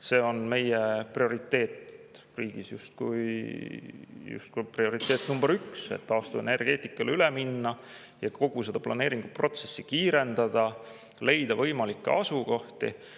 See on meie riigis justkui prioriteet nr 1, et tuleb taastuvenergeetikale üle minna ja kogu seda planeeringuprotsessi kiirendada, leida võimalikke asukohti.